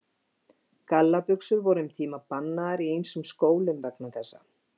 Gallabuxur voru um tíma bannaðar í ýmsum skólum vegna þessa.